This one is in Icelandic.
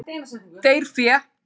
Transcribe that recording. Deyr fé.